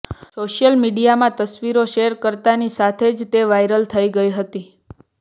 social મીડિયામાં તસ્વીરો share કરતાની સાથે જ તે વાયરલ થઇ ગઈ હતી